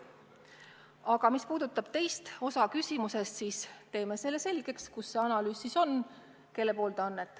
Aga mis puudutab teist osa teie küsimusest, siis teeme selgeks, kus see analüüs on.